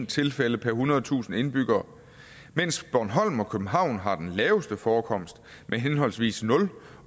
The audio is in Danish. tilfælde per ethundredetusind indbyggere mens bornholm og københavn har den laveste forekomst med henholdsvis nul